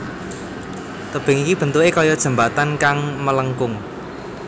Tebing iki bentuké kaya jembatan kang melengkung